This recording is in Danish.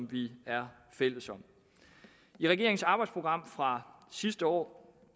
vi er fælles om i regeringens arbejdsprogram fra sidste år